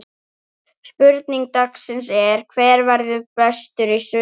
Spurning dagsins er: Hver verður bestur í sumar?